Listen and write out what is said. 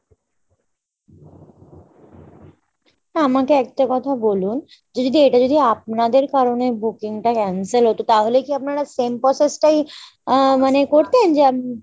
আমাকে একটা কথা বলুন যে যদি এটা যদি আপনাদের কারণে booking টা cancel হতো তাহলে কি আপনারা same process টাই আহ মানে করতেন যে